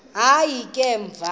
hayi ke emva